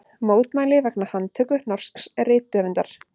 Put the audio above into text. Mótmæli vegna handtöku norsks rithöfundar